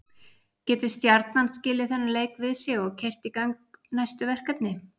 Getur Stjarnan skilið þennan leik við sig og keyrt í gang næstu verkefni?